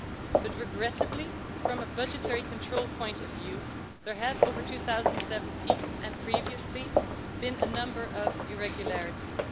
But regrettably, from a budgetary control point of view, there have, during 2017 and previously, been a number of irregularities.